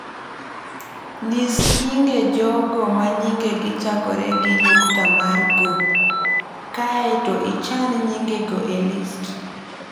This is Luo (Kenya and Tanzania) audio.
Nyis nyinge jogo ma nyingegi chakore gi nyukta mar G, kae to ichan nyingegi e list.